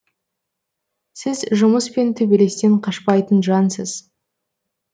сіз жұмыс пен төбелестен қашпайтын жансыз